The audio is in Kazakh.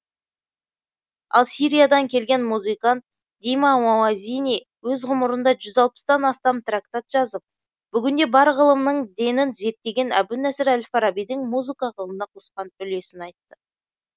ал сириядан келген музыкант дима мауазини өз ғұмырында жүз алпыстан астам трактат жазып бүгінде бар ғылымның денін зерттеген әбу насыр әл фарабидің музыка ғылымына қосқан үлесін айтты